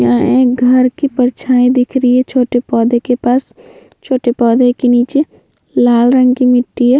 यहाँ एक घर की परछाई दिख रही है छोटे पौधे के पास छोटे पौधे के नीचे लाल रंग की मिट्टी है।